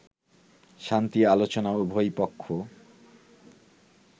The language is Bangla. শান্তি আলোচনায় উভয় পক্ষ